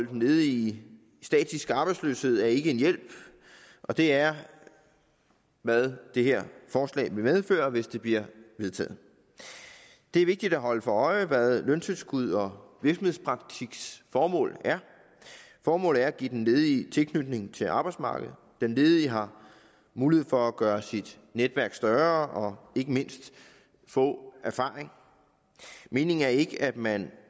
den ledige i statisk arbejdsløshed er ikke en hjælp og det er hvad det her forslag vil medføre hvis det bliver vedtaget det er vigtigt at holde sig for øje hvad løntilskud og virksomhedspraktiks formål er formålet er at give den ledige tilknytning til arbejdsmarkedet den ledige har mulighed for at gøre sit netværk større og ikke mindst få erfaring meningen er ikke at man